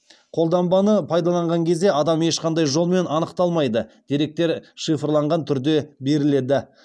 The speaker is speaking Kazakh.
қолданбаны пайдаланған кезде адам ешқандай жолмен анықталмайды деректер шифрланған түрде беріледі